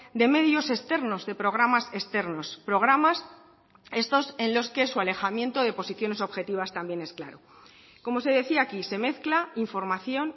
de medios externos de programas externos programas estos en los que su alejamiento de posiciones objetivas también es claro como se decía aquí se mezcla información